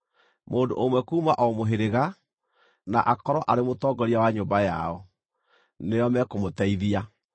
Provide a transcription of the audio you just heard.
Mũndũ ũmwe kuuma o mũhĩrĩga, na akorwo arĩ mũtongoria wa nyũmba yao, nĩo mekũmũteithia.